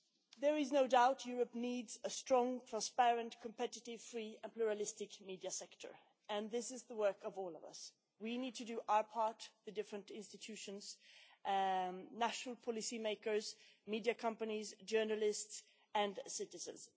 There is no doubt Europe needs a strong, transparent, competitive, free and pluralistic media sector and this is the work of all of us. We need to do our part the different institutions, national policy makers, media companies, journalists and citizens.